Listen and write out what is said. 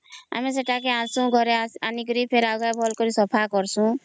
ଆମେ ସେତ ଆଗେ ଆଣୁଛୁ ଦେଇକରି ଘରେ ଭଲ ସେ ସଫା କରୁଛୁ